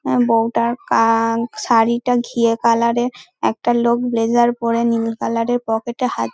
এর বৌটা কান শাড়িটা ঘিয়ে কালার এর একটা লোক ব্লেজার পরে নীল কালার এর পকেটে হাত--